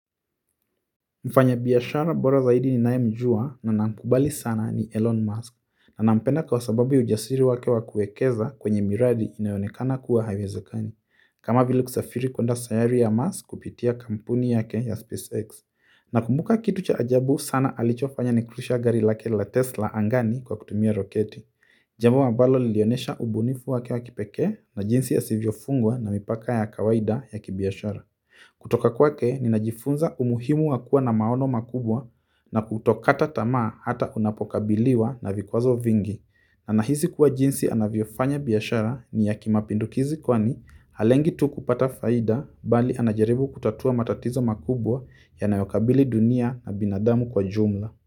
Mfanya biashara bora zaidi ni nae mjua na nina mkubali sana ni Elon Musk na nampenda kwa sababu ya ujasiri wake wa kuwekeza kwenye miradi inayo onekana kuwa haiwezekani kama vila kusafiri kwenda sayari ya Musk kupitia kampuni yake ya SpaceX na kumbuka kitu cha ajabu sana alicho fanya nikurusha gari lake la Tesla angani kwa kutumia roketi jambo ambalo lilionesha ubunifu wake wa kipeke na jinsi asivyo fungwa na mipaka ya kawaida ya kibiashara kutoka kwake ni najifunza umuhimu wakua na maono makubwa na kutokata tamaa hata unapokabiliwa na vikwazo vingi na nahisi kuwa jinsi anavyofanya biashara ni ya kimapindukizi kwani halengi tu kupata faida bali anajaribu kutatua matatizo makubwa yanayo kabili dunia na binadamu kwa jumla.